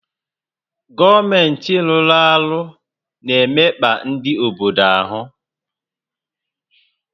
Gọọmentị rụ́rụ́ àrụ́ na-emekpa ndị obodo áhụ́